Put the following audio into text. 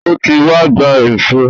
O ti wá gba èṣó.